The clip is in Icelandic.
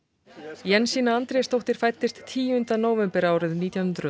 Jensína Andrésdóttir fæddist tíunda nóvember árið nítján hundruð og